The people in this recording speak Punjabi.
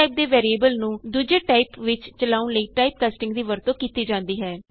ਇਕ ਟਾਈਪ ਦੇ ਵੈਰੀਏਬਲ ਨੂੰ ਦੁਜੇ ਟਾਈਪ ਵਿਚ ਚਲਾਉਣ ਲਈ ਟਾਈਪਕਾਸਟਿੰਗ ਦੀ ਵਰਤੋਂ ਕੀਤੀ ਜਾਂਦੀ ਹੈ